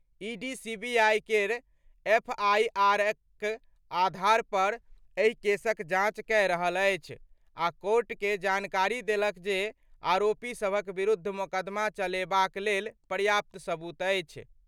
ED CBI केर एफआईआरक आधार पर एहि केसक जांच कए रहल अछि आ कोर्ट के जानकारी देलक जे आरोपी सभक विरुद्ध मोकदमा चलेबाक लेल पर्याप्त सबूत अछि।